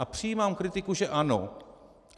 A přijímám kritiku, že ano.